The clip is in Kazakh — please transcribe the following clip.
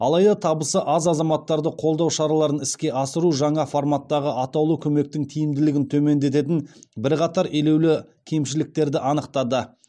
алайда табысы аз азаматтарды қолдау шараларын іске асыру жаңа форматтағы атаулы көмектің тиімділігін төмендететін бірқатар елеулі кемшіліктерді анықтады